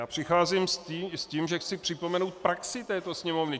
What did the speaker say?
Já přicházím s tím, že chci připomenout praxi této Sněmovny.